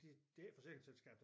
Det det er ikke et forsikringsselskab